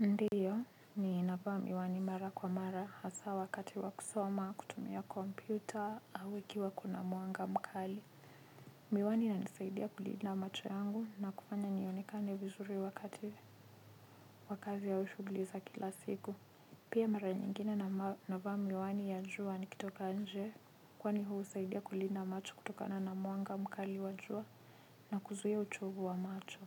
Ndiyo, ni navaa miwani mara kwa mara hasa wakati wa kusoma, kutumia kompyuta, au ukiwa kuna mwanga mkali. Miwani ina nisaidia kulinda macho yangu na kufanya nionikane vizuri wakati wa kazi au shuguliza kila siku. Pia mara nyingine na navaa miwani ya jua nikitoka nje, kwa ni huu saidia kulinda macho kutokana na mwanga mkali wa jua na kuzuia uchovu wa macho.